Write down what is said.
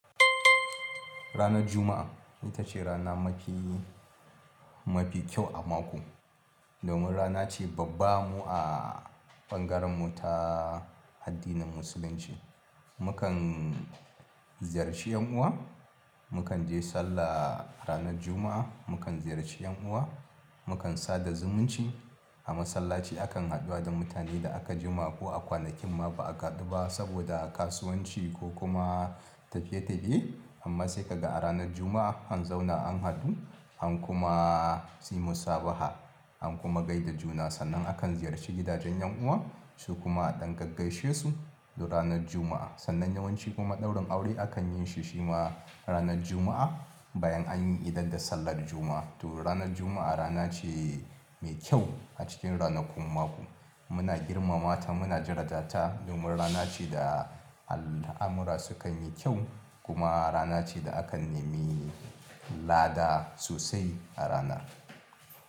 Ranar Juma'a ita ce rana mafi mafi kyau a mako. Domin rana ce babba mu a ɓangaren mu ta addinin musulunci. Mukan ziyarci 'yan uwa, mukan je sallah ranar Juma'a, mukan ziyarci 'yan uwa, mukan sada zumunci. A masallaci akan haɗu da mutane da aka jima ko a kwanakin ma ba a haɗu ba saboda kasuwanci ko kuma tafiye-tafiye. Amma sai ka ga a ranar Juma'a an zauna an haɗu, an kuma tsimu sabaha, an kuma gai da juna. Sannan akan ziyarci gidajen 'yan uwa su kuma ɗan gaggaishe su do ranar Juma'a. Sannan yawanci kuma ɗaurin aure akan yin shi shi ma ranar Juma'a bayan an yi idar da sallar Juma'a. To ranar Juma'a rana ce mai kyau a cikin ranakun mako. Muna girmamata, muna jirata ta domin rana ce da al'amura sukan yi kyau kuma rana ce da akan nemi lada sosai a ranar.